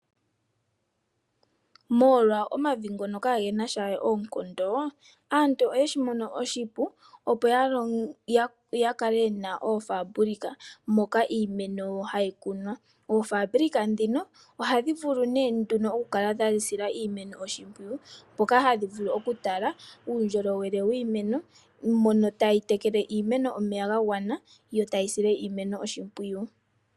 Molwa omavi ngono kage na sha we oonkondo aantu oye shi mono oshipu, opo ya kale ye na oofaabulika moka iimeno hayi kunwa. Oofabulika ndhino ohadhi vulu nee nduno okukala dha sila iimeno oshimpwiyu, mpoka hadhi vulu okutala uundjolowele wiimeno mono tayi tekele omeya ga gwana yo tayi sile iimeno oshimpwiyu.